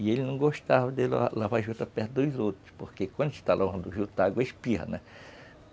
E ele não gostava de lavar juta perto dos outros, porque quando está lavando juta, a água espirra, né?